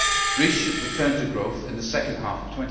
Greece should return to growth in the second half of